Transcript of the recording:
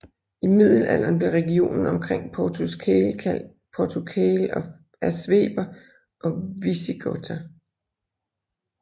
I middelalderen blev regionen omkring Portus Cale kaldt Portucale af Sveber og Visigoter